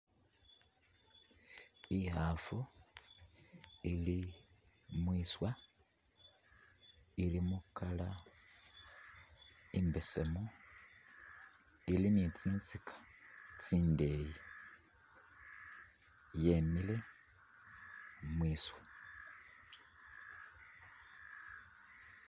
Ikhafu ili mwiswa, ilimo colour imbesemu, ili ni'tsinstika tsindeyi yemile mwiswa